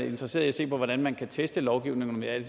interesseret i at se på hvordan man kan teste lovgivningen jeg